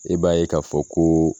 E b'a ye k'a fɔ koo